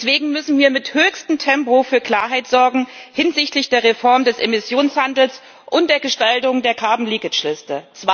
Deswegen müssen wir mit höchstem Tempo für Klarheit sorgen hinsichtlich der Reform des Emissionshandels und der Gestaltung der Carbon leakage Liste.